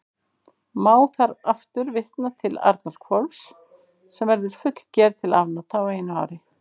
Má þar aftur vitna til Arnarhvols, sem verður fullger til afnota á einu ári.